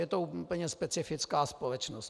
Je to úplně specifická společnost.